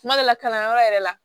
Kuma dɔ la kalanyɔrɔ yɛrɛ la